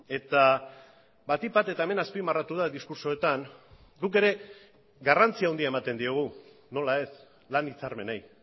eta batik bat eta hemen azpimarratu da diskurtsoetan guk ere garrantzia handia ematen diogu nola ez lan hitzarmenei